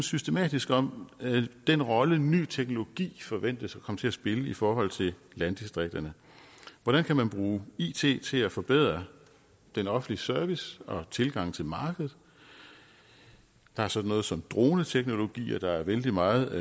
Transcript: systematisk om den rolle ny teknologi forventes at komme til at spille i forhold til landdistrikterne hvordan kan man bruge it til at forbedre den offentlige service og tilgangen til markedet der er sådan noget som droneteknologier der er vældig meget